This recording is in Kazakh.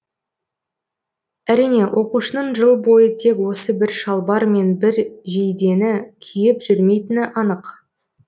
әрине оқушының жыл бойы тек осы бір шалбар мен бір жейдені киіп жүрмейтіні анық